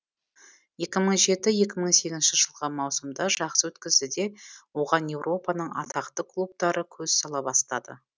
екі мың жеті екі мың сегізінші жылғы маусымды жақсы өткізді де оған еуропаның атақты клубтары көз сала бастады